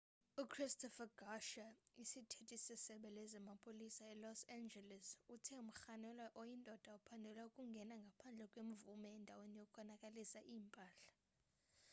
uchristopher garcia isithethi sesebe lezamapolisa elos angeles uthe umrhanelwa oyindoda uphandelwa ukungena ngaphandle kwemvume endaweni yokonakalisa impahla